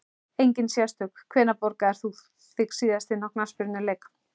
Engin sérstök Hvenær borgaðir þú þig síðast inn á knattspyrnuleik?